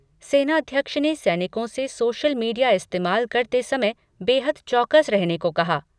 सेनाध्यक्ष ने सैनिकों से सोशल मीडिया इस्तेमाल करते समय बेहद चौकस रहने को कहा।